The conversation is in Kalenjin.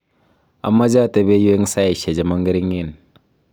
amache atebe yu eng saishe che mo ngering.